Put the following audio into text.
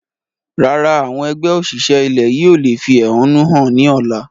Rárá, àwọn ẹgbẹ́ òṣìṣẹ́ ilẹ̀ yí o lè fi ẹhónú hàn ni ọ̀la.